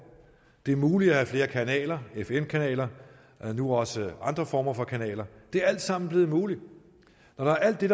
det er muligt at have flere kanaler fm kanaler og nu også andre former for kanaler det er alt sammen blevet muligt når alt det